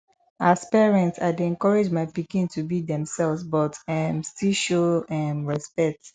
as parent i dey encourage my pikin to be themselves but um still show um respect